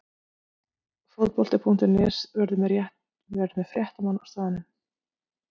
Fótbolti.net verður með fréttamenn á staðnum.